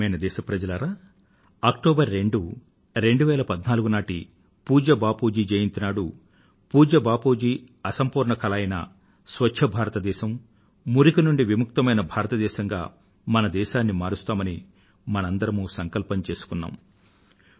ప్రియమైన నా దేశ వాసులారా 2014 అక్టోబర్ 2వ తేదీ నాటి పూజ్య బాపూజీ జయంతి నాడు పూజ్య బాపూజీ అసంపూర్ణ కల అయిన స్వచ్ఛ భారతదేశం మరియు మురికి కి తావు ఉండని భారతదేశం గా మన దేశాన్ని మారుస్తామని మనమంతా సంకల్పం చెప్పుకొన్నాం